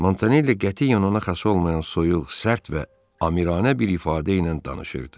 Montanelli qətiyyən ona xas olmayan soyuq, sərt və amiranə bir ifadə ilə danışırdı.